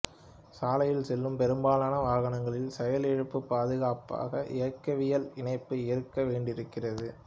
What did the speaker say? சாலையில் செல்லும் பெரும்பாலான வாகனங்களில் செயலிழப்பு பாதுகாப்பாக இயக்கவியல் இணைப்பு இருக்க வேண்டியிருக்கிறது